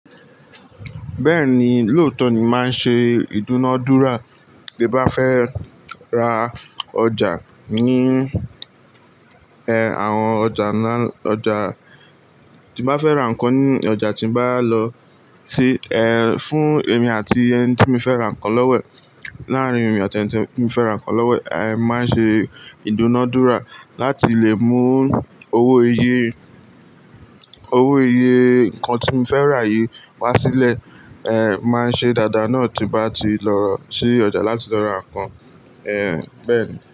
Bẹ́ẹ̀ni, lóòótọ́ ni máa ń ṣe ìdúnadúrà te bá fẹ́ ra ọjà ní, ẹ, àwọn ọjà ńlá, ọjà tí n ba fẹ́ ra nǹkan ní ọjà tí n bá lọ sí, ẹ, fún èmi àti ẹni tí mo fẹ́ ra nǹkan lọ́wo e, láàrín èmi àti ẹniti mo fẹ́ ra nǹkan lọ́wo ẹ̀, ẹ, máa ń ṣe ìdúnadúrà láti lè mú owó iye, owó iye nǹkan tí mo fẹ́ rà yìí wá sílẹ̀, ẹ, máa ń ṣe dàda náà tí n bá ti lọ sí ọjà láti lọ ra nǹkan, ẹ, bẹ́ẹ̀ni.